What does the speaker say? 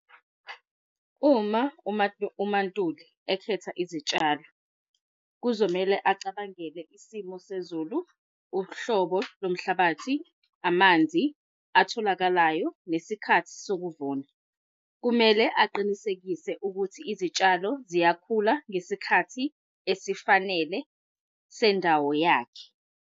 Uma uMaNtuli ekhetha izitshalo, kuzomele acabangele isimo sezulu, uhlobo lomhlabathi, amanzi atholakalayo, nesikhathi sokuvuna. Kumele aqinisekise ukuthi izitshalo ziyakhula ngesikhathi esifanele sendawo yakhe.